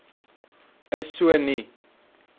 is so nie